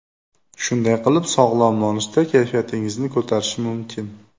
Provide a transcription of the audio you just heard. Shunday qilib, sog‘lom nonushta kayfiyatingizni ko‘tarishi mumkin.